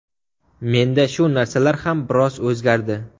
Menda shu narsalar ham biroz o‘zgardi”.